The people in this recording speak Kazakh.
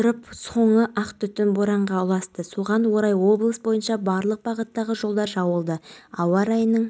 мен кемені көріп ағыстың бойымен оған жүзіп бардым олар мені бинокльмен көріп шлюпканы түсірді кейін құрғақ